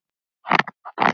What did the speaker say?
Þakka þér fyrir!